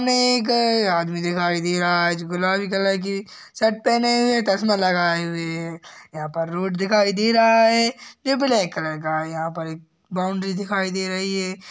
में एक आदमी दिखाई दे रहा है गुलाबी कलर की शर्ट पहने हुए चश्मा लगाए हुए है यहाँ पर रोड़ दिखाई दे रहा है ब्लैक कलर का है। यहाँ पर एक बाउंड्री दिखाई दे रही है।